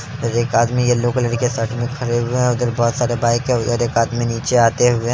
अर एक आदमी yellow colour के शर्ट में खड़े हुए हैं| उधर बहुत सारे बाइक है उधर एक आदमी नीचे आते हुए--